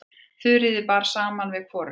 Þuríði bar saman við hvorugan.